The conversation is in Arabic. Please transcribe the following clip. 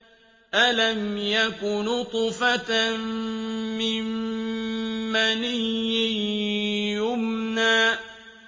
أَلَمْ يَكُ نُطْفَةً مِّن مَّنِيٍّ يُمْنَىٰ